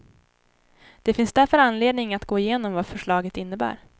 Det finns därför anledning att gå igenom vad förslaget innebär.